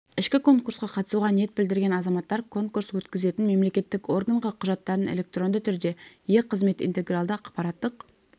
ішкі конкурсқа қатысуға ниет білдірген азаматтар конкурс өткізетін мемлекеттік органға құжаттарын электронды түрде е-қызмет интегралды ақпараттық